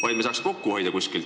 Mujaltki saaks kokku hoida.